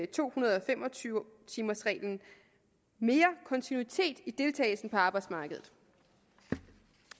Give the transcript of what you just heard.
to hundrede og fem og tyve timers reglen mere kontinuitet i deltagelsen på arbejdsmarkedet